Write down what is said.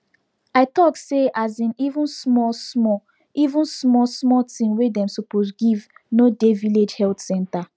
i talk say asin even small small even small small thing wey dem suppose give no dey village health center